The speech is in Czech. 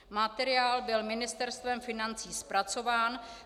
Materiál byl Ministerstvem financí zpracován.